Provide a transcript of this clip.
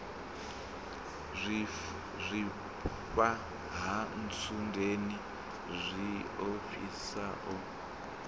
zwifha ha ntsundeni tshiofhiso o